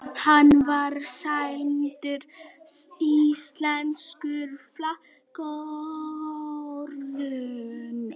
Hann var sæmdur íslensku fálkaorðunni